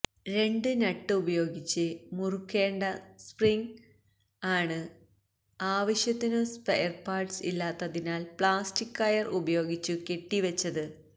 രണ്ട് നട്ട് ഉപയോഗിച്ച് മുറുക്കേണ്ട സ്പ്രിംഗ് ആണ് ആവശ്യത്തിനു സ്പെയർപാട്സ് ഇല്ലാത്തതിനാൽ പ്ലാസ്റ്റിക് കയർ ഉപയോഗിച്ചു കെട്ടിവെച്ചത്